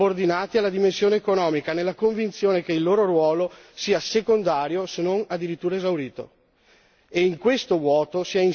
Oggi i nostri valori fondativi sono subordinati alla dimensione economica, nella convinzione che il loro ruolo sia secondario se non addirittura esaurito.